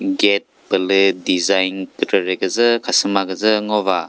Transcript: gate pü lü design kükrekre küzü khasüma küzü ngo va.